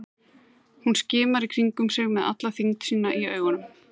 Hún skimar í kringum sig með alla þyngd sína í augunum.